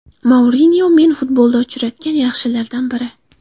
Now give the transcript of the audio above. Mourinyo men futbolda uchratgan yaxshilardan biri.